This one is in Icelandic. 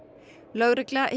lögregla